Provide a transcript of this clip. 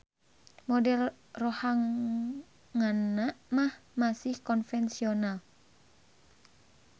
Model rohanganna mah masih konvensional